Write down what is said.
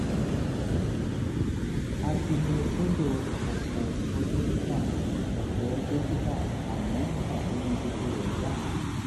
a ti lọ sọ́dọ̀ ọ̀pọ̀ dókítà ọ̀pọ̀ dókítà àmọ́ pàbó ni gbogbo rẹ̀ já sí